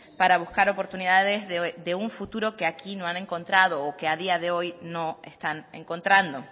para buscar oportunidades de un futuro que aquí no han encontrado o que a día de hoy no están encontrando